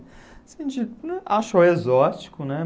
A gente achou exótico, né?